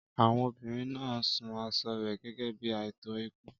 Àwọn obìnrin náà ń sun aṣọ rẹ̀ gẹ́gẹ́ bí ààtò ikú.